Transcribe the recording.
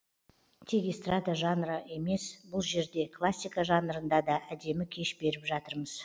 тек эстрада жанры емес бұл жерде классика жанрында да әдемі кеш беріп жатырмыз